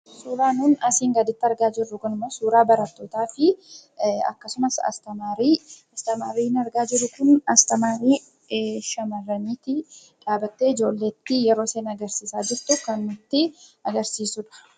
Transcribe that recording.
Suuraan asii gaditti argamu kun suuraa barattootaa fi barsiistuuti. Isheenis dhaabbattee ijoolleetti kan agarsiisaa jirtuu dha.